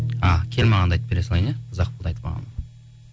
а кел мағанды айтып бере салайын иә ұзақ болды